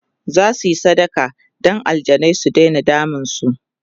zasuyi sadaka Dan aljanai su Daina damun su